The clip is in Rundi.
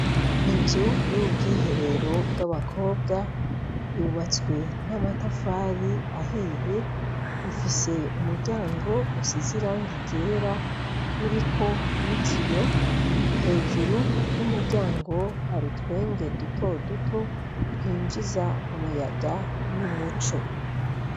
Inzu y' ubwiherero bw' abakobwa, yubatswe n' amatafari ahiye, ifise umuryango usize irangi ryera uriko n' ikiyo, hejuru y' umuryango hari utwenge duto duto twinjiza umuyaga n' umuco.